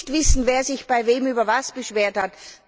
Ich muss nicht wissen, wer sich bei wem über was beschwert hat.